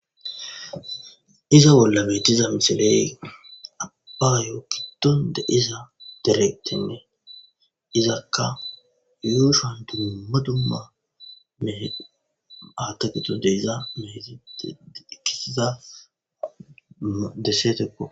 Iza bollametiza misiley abba yoo kidonde iza direqtenne izakka yuushuan duma dumma e aatagito deyza mehetite ikkisiza dessetekko